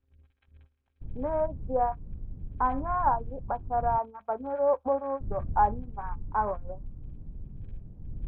N’ezie, anyị aghaghị ịkpachara anya banyere okporo ụzọ anyị na - ahọrọ.